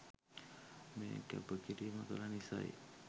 මේ කැප කිරීම කළ නිසයි.